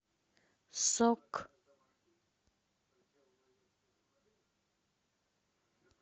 сок